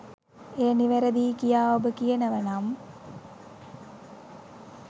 එය නිවැරදියි කියා ඔබ කියනවනම්